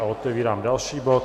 A otevírám další bod